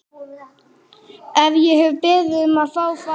Hef ég beðið um að fá að fara?